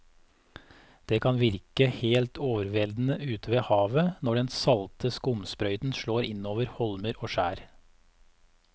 Det kan virke helt overveldende ute ved havet når den salte skumsprøyten slår innover holmer og skjær.